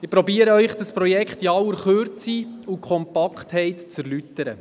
– ich versuche Ihnen dieses Projekt in aller Kürze und Kompaktheit zu erläutern.